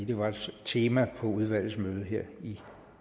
det var et tema på udvalgets møde her